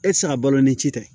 E ti se ka balo ni ci tɛ